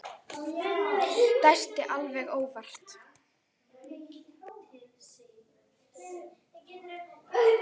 Dæsti alveg óvart.